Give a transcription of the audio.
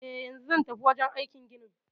Eh, yanzu zan tafi wajen aikin ginin